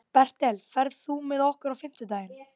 Bertel, ferð þú með okkur á fimmtudaginn?